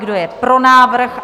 Kdo je pro návrh?